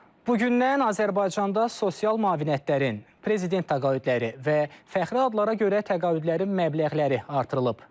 Bugündən Azərbaycanda sosial müavinətlərin, prezident təqaüdləri və fəxri adlara görə təqaüdlərin məbləğləri artırılıb.